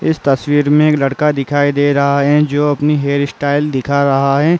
इस तस्वीर में एक लड़का दिखाई दे रहा है जो अपनी हेयरस्टाइल दिखा रहा है।